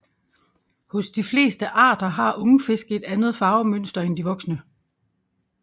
Hos de fleste arter har ungfisk et andet farvemønster end de voksne